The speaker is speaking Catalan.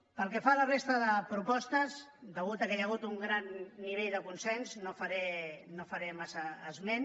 pel que fa a la resta de propostes com que hi ha hagut un gran nivell de consens no en faré massa esment